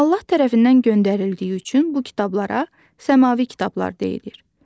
Allah tərəfindən göndərildiyi üçün bu kitablara səmavi kitablar deyilir.